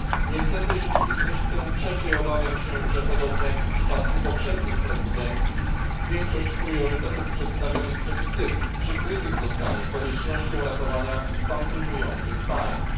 Niestety rzeczywistość temu przeczy i obawiam się, że podobnie jak w przypadku poprzednich prezydencji, większość priorytetów przedstawionych przez Cypr przyćmionych zostanie koniecznością ratowania bankrutujących państw.